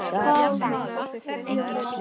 Bára Jóns.